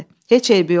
Heç eybi yoxdur.